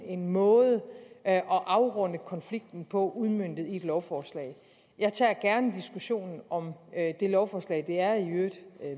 en måde at afrunde konflikten på udmøntet i et lovforslag jeg tager gerne diskussionen om det lovforslag det er i øvrigt